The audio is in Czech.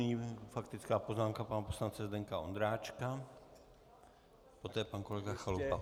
Nyní faktická poznámka pana poslance Zdeňka Ondráčka, poté pan kolega Chalupa.